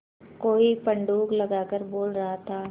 कोई पंडूक लगातार बोल रहा था